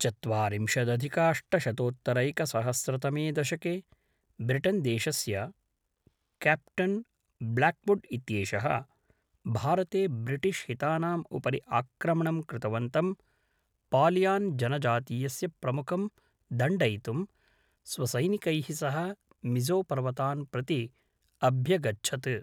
चत्वारिंशदधिकाष्टशतोत्तरैकसहस्रतमे दशके ब्रिटन्देशस्य captain Blackwood इत्येषः, भारते ब्रिटिश्हितानाम् उपरि आक्रमणं कृतवन्तं पालियान् जनजातीयस्य प्रमुखं दण्डयितुं, स्वसैनिकैः सह मिज़ोपर्वतान् प्रति अभ्यगच्छत्।